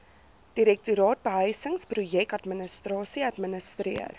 direktoraat behuisingsprojekadministrasie administreer